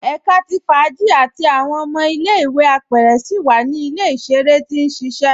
Ẹ̀ká tí fáàjì àti awọn ọmọ ilẹ̀-ìwé apẹrẹ síi wa ni ilẹ̀-iṣẹ̀rẹ tí n ṣiṣẹ